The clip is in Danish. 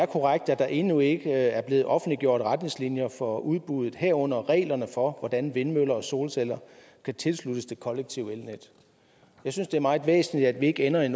korrekt at der endnu ikke er blevet offentliggjort retningslinjer for udbuddet herunder regler for hvordan vindmøller og solceller kan tilsluttes det kollektive elnet jeg synes det er meget væsentligt at vi ikke ender i